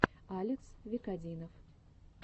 алекс викодинов